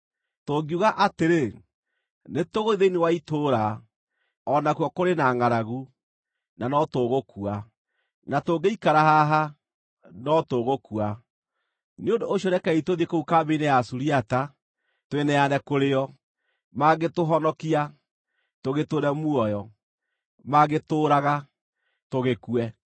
Tũngiuga atĩrĩ, ‘Nĩtũgũthiĩ thĩinĩ wa itũũra,’ o nakuo kũrĩ na ngʼaragu, na no tũgũkua. Na tũngĩikara haha, no tũgũkua. Nĩ ũndũ ũcio rekei tũthiĩ kũu kambĩ-inĩ ya Asuriata, twĩneane kũrĩĩo. Mangĩtũhonokia, tũgĩtũũre muoyo; mangĩtũũraga, tũgĩkue.”